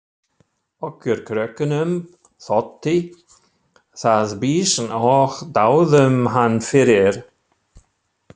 Okkur krökkunum þótti það býsn og dáðum hann fyrir.